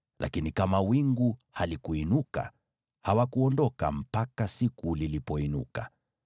lakini kama wingu halikuinuka, hawakuondoka, mpaka siku lilipoinuka.